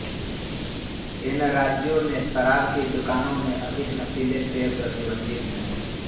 इन राज्यों में शराब की दुकानों में अधिक नशीले पेय प्रतिबंधित हैं